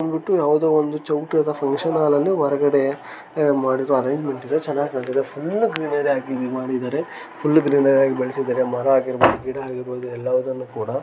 ಇದು ಬಂದಬಿಟ್ಟು ಯಾವುದೊ ಒಂದು ಚೌಟ್ರಿದ ಫಂಕ್ಷನ್‌ ಹಾಲ ಹೊರಗಡೆ ಅಹ್‌ ಮಾಡಿರೊ ಅರೆಂಜಮೆಂಟ ಇದೆ ಚೆನ್ನಾಗ ಕಾಣ್ತಿದೆ ಫುಲ್ಲ ಗ್ರಿನರಿ ಯಾಗಿ ಮಾಡಿದ್ದಾರೆ ಫುಲ್ಲ ಗ್ರಿನರಿ ಯಗಿ ಬೆಳೆಸಿದ್ದಾರೆ ಮರ ಆಗಿರಬಹುದು ಗಿಡ ಆಗಿರಬಹುದು ಎಲವುದನ್ನು ಕುಡ .